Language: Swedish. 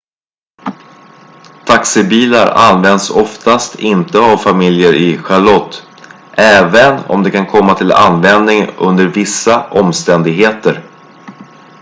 taxibilar används oftast inte av familjer i charlotte även om de kan komma till användning under vissa omständigheter